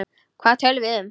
Hvað töluðum við um?